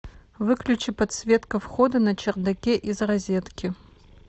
выключи подсветка входа на чердаке из розетки